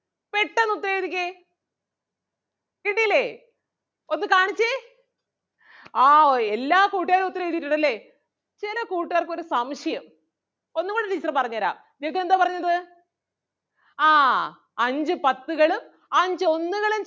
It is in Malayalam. കിട്ടിയില്ലേ ഒന്ന് കാണിച്ചേ ആഹ് എല്ലാ കൂട്ടുകാരും ഉത്തരം എഴുതിയിട്ടുണ്ട് അല്ലേ? ചെല കൂട്ടുകാർക്ക് ഒരു സംശയം ഒന്നുംകൂടി teacher പറഞ്ഞു തരാം. ജഗ്ഗു എന്താ പറഞ്ഞത് ആഹ് അഞ്ച് പത്തുകളും അഞ്ച് ഒന്നുകളും